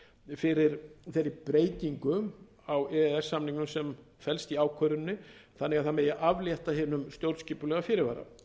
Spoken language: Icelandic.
fyrir þeirri breytingu á e e s samningnum sem felst í ákvörðuninni þannig að það megi aflétta hinum stjórnskipulega fyrirvara